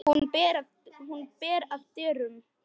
Hún ber að dyrum.